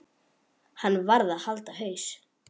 Hann varð að halda haus.